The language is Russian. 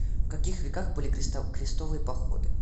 в каких веках были крестовые походы